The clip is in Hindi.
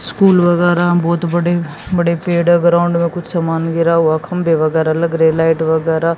स्कूल वगैरह बहुत बड़े बड़े पेड़ ग्राउंड में कुछ समान गिरा हुआ खंबे वगैरह लग रहे लाइट वगैरह--